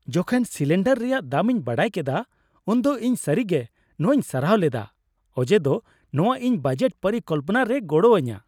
ᱡᱚᱠᱷᱚᱱ ᱥᱤᱞᱤᱱᱰᱟᱨ ᱨᱮᱭᱟᱜ ᱫᱟᱢᱤᱧ ᱠᱮᱫᱟ ᱩᱱᱫᱚ ᱤᱧ ᱥᱟᱹᱨᱤᱜᱮ ᱱᱚᱶᱟᱧ ᱥᱟᱨᱦᱟᱣ ᱞᱮᱫᱟ ᱚᱡᱮᱫᱚ ᱱᱚᱶᱟ ᱤᱧ ᱵᱟᱡᱮᱴ ᱯᱚᱨᱤᱠᱚᱞᱯᱚᱱᱟ ᱨᱮᱭ ᱜᱚᱲᱚ ᱟᱹᱧᱟ ᱾